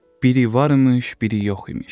Biri varmış, biri yox imiş.